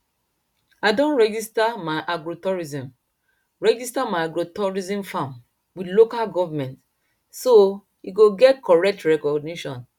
i don register my agrotourism register my agrotourism farm with local government so e go get correct recognition